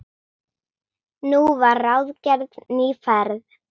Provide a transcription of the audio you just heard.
Nú var ráðgerð ný ferð.